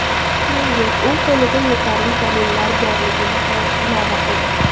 Shuningdek, u qo‘lida yetarli dalillar borligini ham ilova qildi.